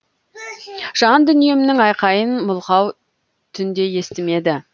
жандүниемнің айқайын мылқау түн де естімеді